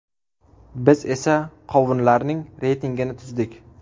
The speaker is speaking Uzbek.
Biz esa qovunlarning reytingini tuzdik.